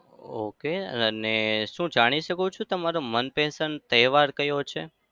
ok અને શું જાણી શકું છું તમારો મનપસંદ તહેવાર કયો છે?